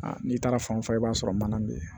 Aa n'i taara fan o fan i b'a sɔrɔ mana be yen